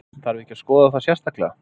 Þarf ekki að skoða það sérstaklega?